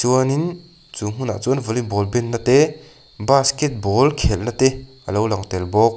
chuanin chu hmunah chuan volleyball benna te basketball khelhna te a lo lang tel bawk.